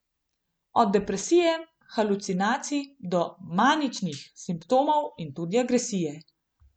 Od depresije, halucinacij do maničnih simptomov in tudi agresije.